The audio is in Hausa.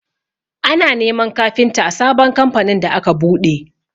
Ana neman kafinta a sabon kamfanin da aka buɗe.